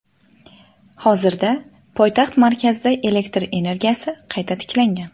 Hozirda poytaxt markazida elektr energiyasi qayta tiklangan.